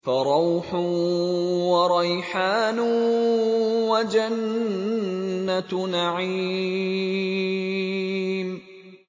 فَرَوْحٌ وَرَيْحَانٌ وَجَنَّتُ نَعِيمٍ